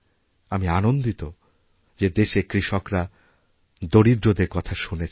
আমি আনন্দিত যেদেশের কৃষকরা দরিদ্রদের কথা শুনেছেন